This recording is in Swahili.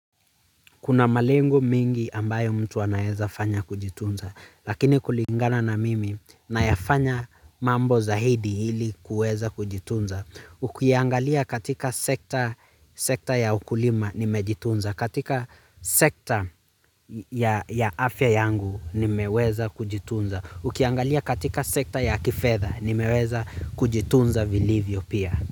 Kuna malengo mengi ambayo watu wanaeza fanya kujitunza, lakini kulingana na mimi nayafanya mambo zaidi hili kuweza kujitunza. Ukiangalia katika sekta ya ukulima nimejitunza, katika sekta ya afya yangu nimeweza kujitunza. Ukiangalia katika sekta ya kifedha nimeweza kujitunza vilivyo pia.